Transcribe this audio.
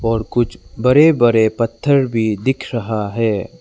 और कुछ बड़े बड़े पत्थर भी दिख रहा है।